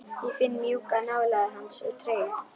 Ég finn mjúka nálægð hans og tryggð.